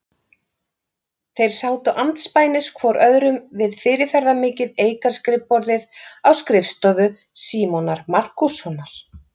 Þeir sátu andspænis hvor öðrum við fyrirferðarmikið eikarskrifborðið á skrifstofu Símonar Markússonar.